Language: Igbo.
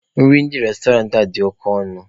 Nri ndị Restọrantị nke a dị oke ọnụ.